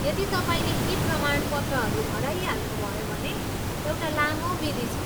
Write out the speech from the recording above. यदि तपाईँले यी प्रमाणपत्रहरू हराइहाल्नुभयो भने, एउटा लामो विधि छ।